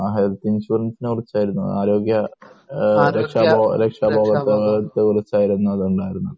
Health ഇൻഷുറൻസിനെ കുറിച്ച് ആയിരുന്നു. ആരോഗ്യ രക്ഷാബോധത്തെ കുറിച്ച്ആയിരുന്നു അത് ഉണ്ടായിരുന്നത്